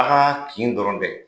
A ka kin dɔrɔn tɛ.